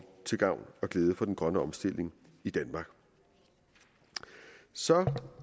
til gavn og glæde for den grønne omstilling i danmark så